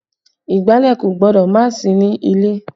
Ìgbálẹ̀ kò gbọ́dọ̀ má sí ní ilé